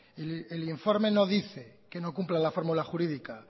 y el informe no dice que no cumpla la fórmula jurídica